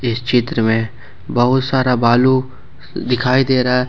इस चित्र में बहुत सारा बालू अ दिखाई दे रहा है।